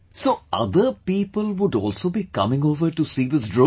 So other people would also be coming over to see this drone